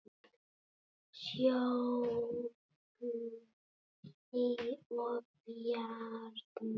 Sólveig og Bjarni.